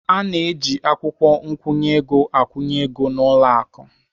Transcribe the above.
A na-eji akwụkwọ nkwụnye ego akwụnye ego n'ụlọ akụ.